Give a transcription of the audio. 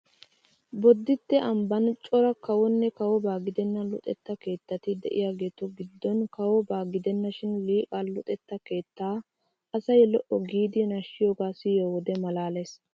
Bodditte ambban cora kawonne kawobaa gidenna luxetta keettati de'iyageetu giddon kawobaa gidennashin Liqaa luxetta keettaa asay lo'o giidi nashshiyogaa siyiyo wode maalaalees!